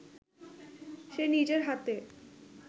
সে নিজের হাতে